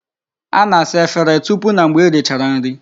A na-asa Efere tupu na mgbe e richara nri